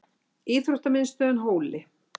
Íþróttamiðstöðinni Hóli